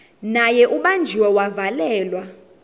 naye ubanjiwe wavalelwa